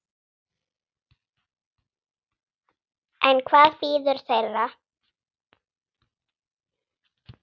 En hvað bíður þeirra?